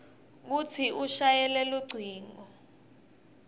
kutsi ushayele lucingo